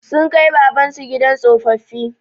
Sun kai Baban su gidan tsofaffi.